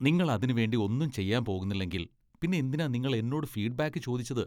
നിങ്ങൾ അതിനുവേണ്ടി ഒന്നും ചെയ്യാൻ പോകുന്നില്ലെങ്കിൽ പിന്നെ എന്തിനാ നിങ്ങൾ എന്നോട് ഫീഡ്ബാക്ക് ചോദിച്ചത്?